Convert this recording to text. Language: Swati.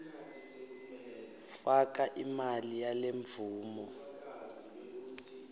faka imali yalemvumo